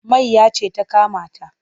Mayya ce ta kama ta.